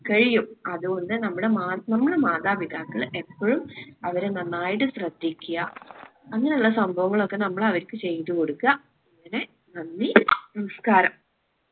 കഴിയും. അതോണ്ട് നമ്മളെ മാ നമ്മള് മാതാപിതാക്കള് എപ്പൊഴും അവരെ നന്നായിട്ട് ശ്രദ്ധിക്കുക അങ്ങനിള്ള സംഭവങ്ങളൊക്കെ നമ്മൾ അവർക്ക് ചെയ്ത കൊടുക്ക. അങ്ങനെ നന്ദി നമസ്കാരം.